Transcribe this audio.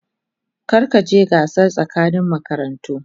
Kar ka je gasar tsakanin makarantu.